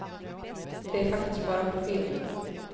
Det är faktiskt bara på film.